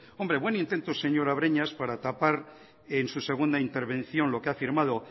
buen intento señora breñas para tapar en su segunda intervención lo que ha firmado